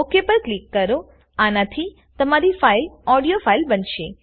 Okપર click કરોઆનાથી તમારી file audio file બનશે